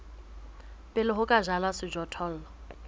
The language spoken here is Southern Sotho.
pele ho ka jalwa sejothollo